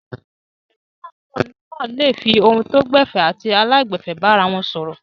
Tẹ̀gbọ́ntàbúrò náà le fi ohùn tó gbẹ̀fẹ̀ àti aláìgbẹ̀fẹ̀ bára wọn sọ̀rọ̀.